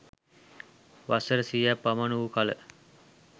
වසර සියයක් පමණ වූ කළ